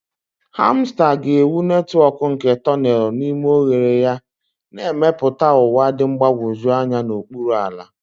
Hamster ga-ewu netwọk nke tonelu n'ime oghere ya, na-emepụta ụwa dị mgbagwoju anya n'okpuru ala.